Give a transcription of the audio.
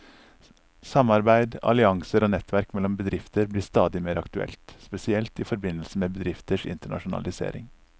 Samarbeid, allianser og nettverk mellom bedrifter blir stadig mer aktuelt, spesielt i forbindelse med bedrifters internasjonalisering.